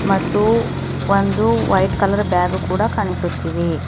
ಮತ್ತು ಒಂದು white colour bag ಕೂಡ ಕಾಣಿಸುತ್ತಿದೆ.